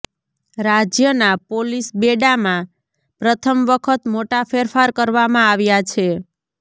રાજ્યના પોલીસબેડામાં પ્રથમ વખત મોટા ફેરફાર કરવામાં આવ્યા છે